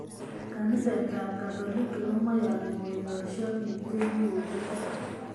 Kaniset tab katolik komaiyani kosasyo biik che kigotunge